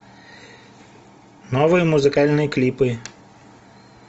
новые музыкальные клипы